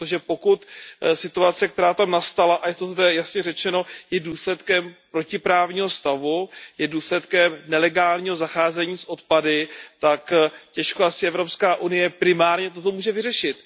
Protože pokud situace, která tam nastala, a je to zde jasně řečeno, je důsledkem protiprávního stavu, je důsledkem nelegálního zacházení s odpady, tak těžko asi Evropská unie primárně toto může vyřešit.